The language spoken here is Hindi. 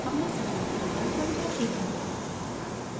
अब मैं सैंपल प्रोगाम समझाती हूँ